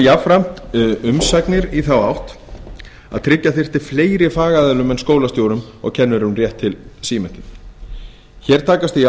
jafnframt umsagnir í þá átt að tryggja þyrfti fleiri fagaðilum en skólastjórum og kennurum rétt til símenntunar hér takast því